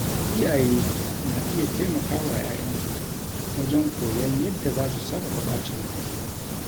Iyaye na iya taimaka wa ‘ya’yansu wajen koyon yadda za su sarrafa ɓacin ransu.